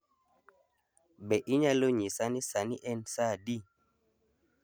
Be inyalo nyisa ni sani en saa adi